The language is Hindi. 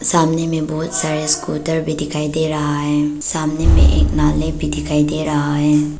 सामने में बहुत सारा स्कूटर भी दिखाई दे रहा है सामने में एक नाले भी दिखाई दे रहा है।